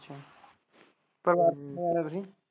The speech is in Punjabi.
ਪਰਿਵਾਰ ਚ ਕੋਣ ਕੋਣ ਆ ਤੁਹੀਂ।